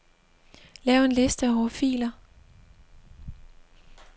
Lav en liste over filer.